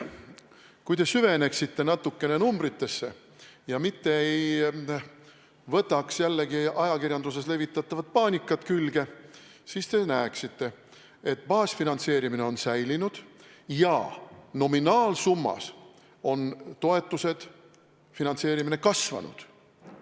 Kui te süveneksite natukene numbritesse ega läheks kaasa ajakirjanduses levitatava paanikaga, siis te näeksite, et baasfinantseerimine on säilinud ja nominaalsummas on toetused, finantseerimine kasvanud.